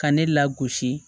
Ka ne lagosi